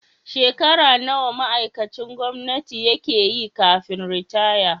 Shekara nawa ma'aikacin gwamnati yake yi kafin ritaya?